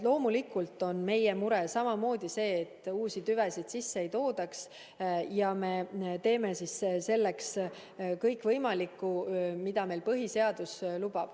Loomulikult on meie mure samamoodi, et uusi tüvesid sisse ei toodaks, ja me teeme selleks kõik võimaliku, mida põhiseadus lubab.